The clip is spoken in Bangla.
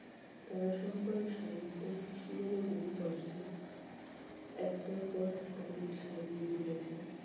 তারাশঙ্করের সাহিত্য সৃষ্টি যেনো বহু কষ্টের, একটার পর একটা ইট সাজিয়ে তুলেছে।